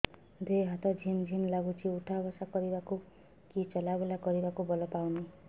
ଦେହେ ହାତ ଝିମ୍ ଝିମ୍ ଲାଗୁଚି ଉଠା ବସା କରିବାକୁ କି ଚଲା ବୁଲା କରିବାକୁ ବଳ ପାଉନି